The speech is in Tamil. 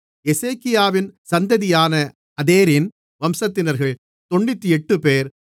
எசேக்கியாவின் சந்ததியான அதேரின் வம்சத்தினர்கள் 98 பேர்